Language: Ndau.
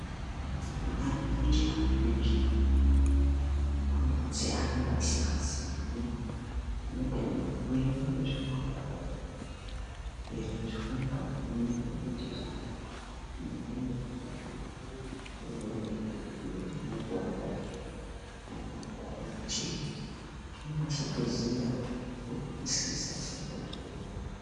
Kune munhu anenge achihamba kundau dzaaenge asingaziyi munotenderwe kuerenga zvikwangwari zvinoita kuti muziye zvirikudiwa uye mupurutane kuti munase kuziya, kuzwisisa chaiko chaiko.